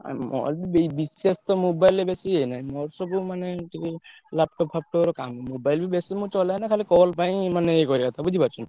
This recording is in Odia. ଆଉ ମୋର ବି ବିଶେଷତ mobile ରେ ବେସି ଇଏ ନାଁହି ମୋର ସବୁ ମାନେ ଏମିତି laptop ଫ୍ୟାପଟପ୍ ରେ କାମ mobile ମୁଁ ବି ବେସି ଚଲାଏନା ଖାଲି call ପାଇଁ ଇଏ କରିଆ କଥା ବୁଝି ପାରୁଛ ନା!